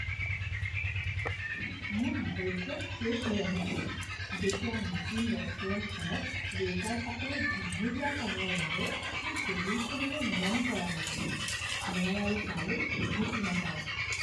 মোৰ ধৈৰ্য্য শেষ হৈ আহিছিল যেতিয়া নতুন ৰেষ্টুৰেণ্টখনত ৱেটাৰসকলে দীঘলীয়া সময়ৰ বাবে মোৰ টেবুলখনলৈ মন কৰা নাছিল। মই আৰু তালৈ উভতি নাযাওঁ।